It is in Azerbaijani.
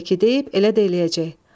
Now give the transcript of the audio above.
Necə ki deyib, elə də eləyəcək.